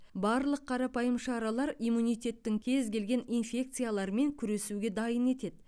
барлық қарапайым шаралар иммунитеттің кез келген инфекциялармен күресуге дайын етеді